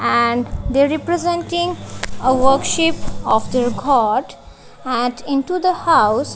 and they representing a workship of their god and into the house --